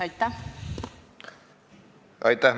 Aitäh!